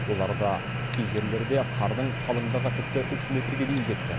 оларда кей жерлерде қардың қалыңдығы тіпті үш метрге дейін жеткен